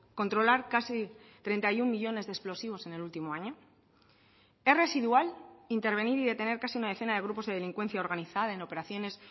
controlar casi treinta y uno millónes de explosivos en el último año es residual intervenir y detener casi una decena de grupos de delincuencia organizada en operaciones